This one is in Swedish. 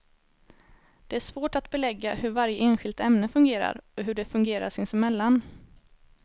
Det är svårt att belägga hur varje enskilt ämne fungerar och hur de fungerar sinsemellan.